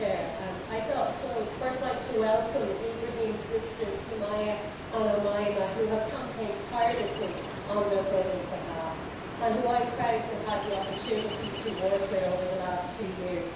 Mr President, I would first like to welcome Ibrahim's sisters, Somaia and Omaima, who have campaigned tirelessly on their brother's behalf, and who I am proud to have had the opportunity to work with over the last two years.